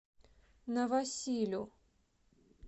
новосилю